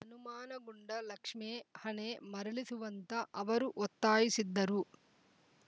ಅನುಮಾನಗೊಂಡ ಲಕ್ಷ್ಮೇ ಹಣೆ ಮರಳಿಸುವಂತೆ ಅವರು ಒತ್ತಾಯಿಸಿದ್ದರು